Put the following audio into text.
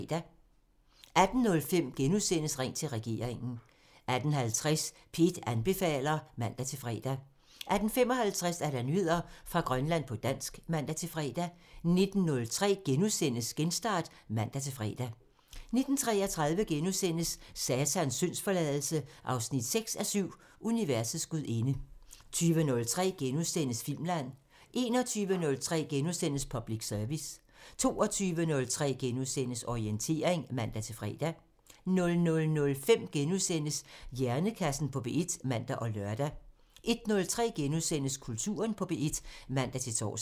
18:05: Ring til regeringen *(man) 18:50: P1 anbefaler (man-fre) 18:55: Nyheder fra Grønland på dansk (man-fre) 19:03: Genstart *(man-fre) 19:33: Satans syndsforladelse 6:7 – Universets gudinde * 20:03: Filmland *(man) 21:03: Public Service *(man) 22:03: Orientering *(man-fre) 00:05: Hjernekassen på P1 *(man og lør) 01:03: Kulturen på P1 *(man-tor)